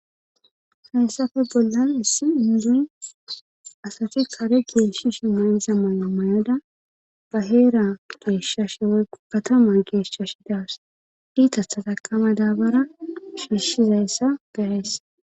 Hayssafe bollan issi induy asati kare gieshishi mayza mayo mayada ba heera geeshshash woy katama geeshshash daas diita sataqama daabara hiishshizayssa garays.